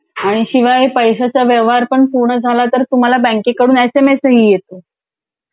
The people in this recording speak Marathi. आणि शिवाय पैशाचा व्यवहार पण पूर्ण झाला तर तुम्हाला बँकेकडून एस एम एस ही येतो.